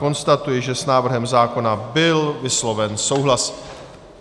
Konstatuji, že s návrhem zákona byl vysloven souhlas.